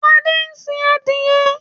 Adé ń sin adìẹ.